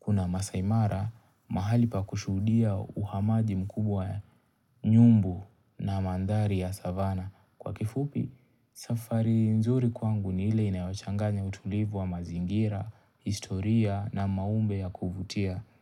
Kuna Maasai mara mahali pa kushuhudia uhamaji mkubwa ya nyumbu na mandhari ya savana Kwa kifupi safari nzuri kwangu ni ile inayochanganya utulivu wa mazingira, historia na maumbe ya kuvutia.